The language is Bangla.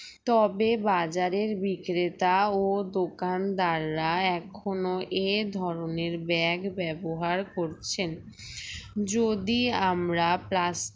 তবে বাজারের বিক্রেতা ও দোকানদাররা এখনো এই ধরনের bag ব্যবহার করছেন যদি আমরা plas